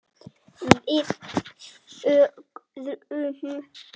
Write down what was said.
Við þögðum.